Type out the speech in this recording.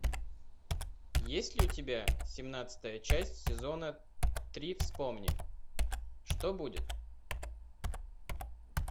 есть ли у тебя семнадцатая часть сезона три вспомни что будет